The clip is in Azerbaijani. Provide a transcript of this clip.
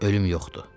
Ölüm yoxdur.